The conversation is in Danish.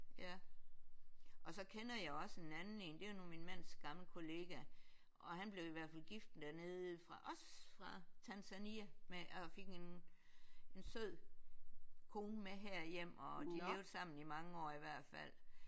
Ja og så kender jeg også en anden én det er nu min mands gamle kollega og han blev i hvert fald gift dernede fra også fra Tanzania med og fik en en sød kone med herhjem og de levede sammen i mange år i hvert fald